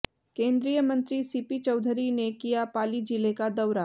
केंद्रीय मंत्री सीपी चौधरी ने किया पाली जिले का दौरा